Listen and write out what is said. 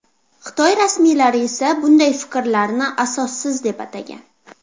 Xitoy rasmiylari esa bunday fikrlarni asossiz deb atagan.